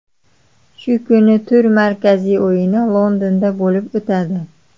Shu kuni tur markaziy o‘yini Londonda bo‘lib o‘tadi.